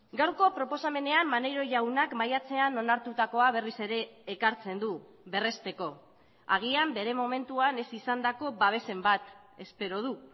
gaurko proposamenean maneiro jaunak maiatzean onartutakoa berriz ere ekartzen du berresteko agian bere momentuan ez izandako babesen bat espero du